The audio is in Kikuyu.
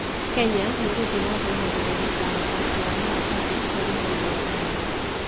Kenya nĩ ĩgũthiĩ na mbere na gũthondeka athaki a maratathi marĩ igweta mũno.